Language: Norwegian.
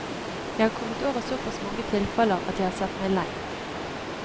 Jeg har kommet over såpass mange tilfeller at jeg har sett meg lei.